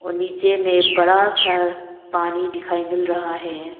और नीचे में बड़ा सा पानी दिखाई मिल रहा है।